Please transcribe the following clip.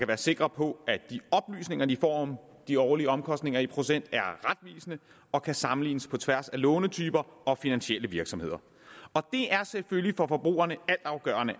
være sikre på at de får om de årlige omkostninger i procent er retvisende og kan sammenlignes på tværs af lånetyper og finansielle virksomheder for forbrugerne